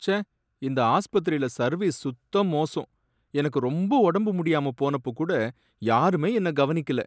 ச்சே! இந்த ஆஸ்பத்திரில சர்வீஸ் சுத்த மோசம், எனக்கு ரொம்ப உடம்பு முடியாம போனப்ப கூட யாருமே என்ன கவனிக்கல